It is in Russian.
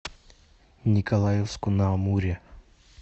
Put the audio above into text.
николаевску на амуре